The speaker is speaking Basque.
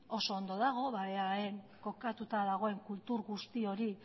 oso ondo dago eaen kokatuta dagoen kultur guzti hori